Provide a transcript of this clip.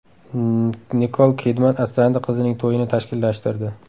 Nikol Kidman asrandi qizining to‘yini tashkillashtirdi.